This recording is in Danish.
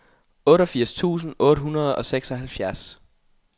otteogfirs tusind otte hundrede og seksoghalvfjerds